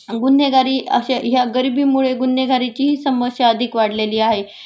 गुन्हेगारी अश्या ह्या गरिबीमुळे गुन्हगारीचीही समस्या अधिक वाढलेली आहे